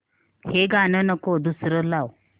हे गाणं नको दुसरं लाव